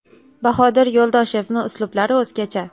Bahodir Yo‘ldoshevni uslublari o‘zgacha.